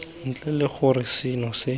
ntle le gore seno se